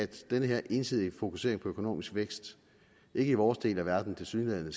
den her ensidige fokusering på økonomisk vækst i vores del af verden tilsyneladende